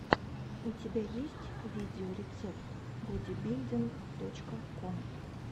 у тебя есть видеорецепт бодибилдинг точка ком